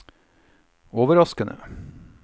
overraskende